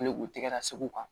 u tɛgɛ la segu kan